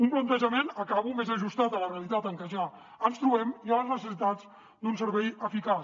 un plantejament acabo més ajustat a la realitat en què ja ens trobem i a les necessitats d’un servei eficaç